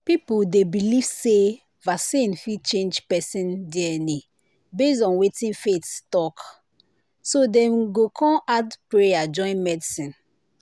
people dey believe say vaccine fit change person dna based on wetin their faith talk so dem go kon add prayer join medicine.